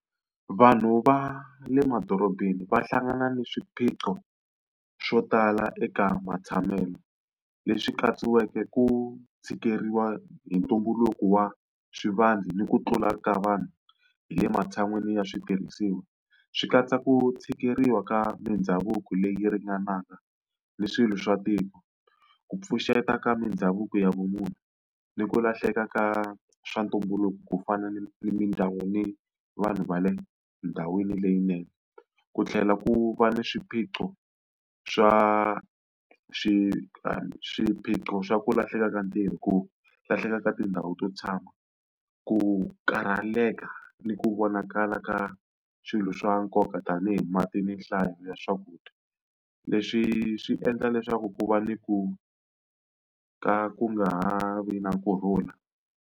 Vanhu va le madorobeni va hlangana na swiphiqo swo tala eka matshamelo, leswi katsiweke ku tshikeleriwa hi ntumbuluko wa ni ku tlula ka vanhu hi le matshan'wini ya switirhisiwa. Swi katsa ku tshikeleriwa ka mindhavuko leyi ringanaka ni swilo swa tiko, ku pfuxeta ka mindhavuko ya vumunhu, ni ku lahleka ka swa ntumbuluko ku fana ni vanhu va le ndhawini leyinene. Ku tlhela ku va ni swiphiqo swa swiphiqo swa ku lahleka ka ntirho, ku lahleka ka tindhawu to tshama, ku karhalaleka ni ku vonakala ka swilo swa nkoka tanihi mati ni nhlayo ya swakudya. Leswi swi endla leswaku ku va ni ku ka ku nga ha vi na kurhula.